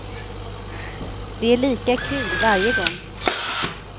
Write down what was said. Det är lika kul varje gång.